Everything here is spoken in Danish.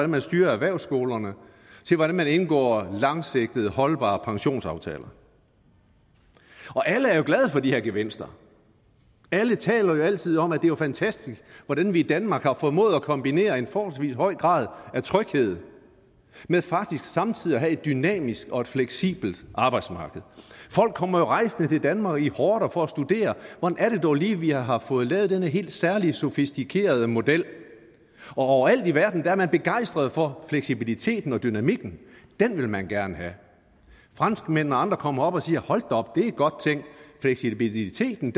man styrer erhvervsskolerne til hvordan man indgår langsigtede holdbare pensionsaftaler alle er jo glade for de her gevinster alle taler altid om at det er fantastisk hvordan vi i danmark har formået at kombinere en forholdsvis høj grad af tryghed med faktisk samtidig at have et dynamisk og fleksibelt arbejdsmarked folk kommer jo rejsende til danmark i horder for at studere hvordan det dog lige er vi har fået lavet den her helt særlige sofistikerede model overalt i verden er man begejstret for fleksibiliteten og dynamikken den vil man gerne have franskmændene og andre kommer herop og siger hold da op det er godt tænkt fleksibiliteten